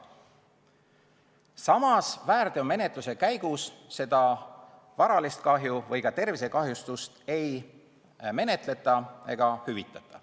Samas, väärteomenetluse käigus seda varalist kahju või ka tervisekahjustust ei menetleta ega hüvitata.